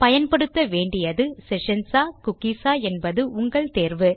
பயன்படுத்த வேண்டியது செஷன்ஸ் ஆ குக்கீஸ் ஆ என்பது உங்கள் தேர்வு